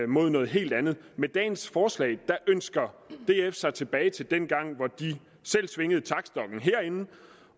mod noget helt andet med dagens forslag ønsker df sig tilbage til dengang da de selv svingede taktstokken herinde